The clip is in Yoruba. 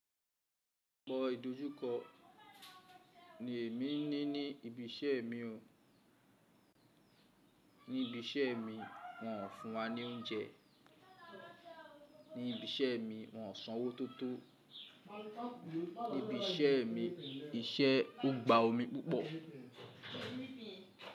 Ọpọ ìdojúkọ ni èmi ní ní ibi iṣẹ́ mi o. Ní ibi iṣẹ́ mi, wọn ò fún wa ní oúnjẹ. Ní ibi iṣẹ́ mi, wọn ò sanwó tó tó. Nibi iṣẹ́ mi, iṣẹ́ ọgbà omi púpọ̀.